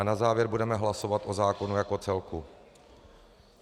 A na závěr budeme hlasovat o zákonu jako celku.